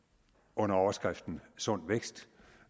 under overskriften sund vækst